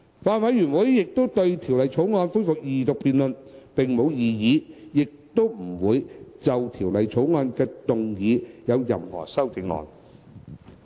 法案委員會對《條例草案》恢復二讀辯論並無異議，亦不會就《條例草案》動議任何修正案。